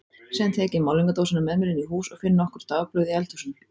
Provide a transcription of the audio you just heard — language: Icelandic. Síðan tek ég málningardósina með mér inn í hús og finn nokkur dagblöð í eldhúsinu.